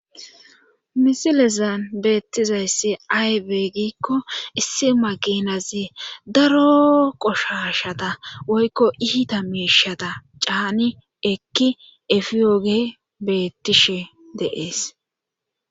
Misilezan beettizayssi aybe gikko issi maginazi daro qoshashada woykko iita meishada caani ekki efiyooge beettishe deees.